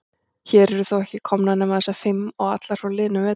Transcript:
Hér eru þó ekki komnar nema þessar fimm. og allar frá liðnum vetri.